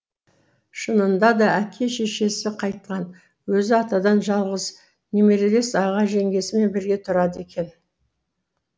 шынында да әке шешесі қайтқан өзі атадан жалғыз немерелес аға жеңгесімен бірге тұрады екен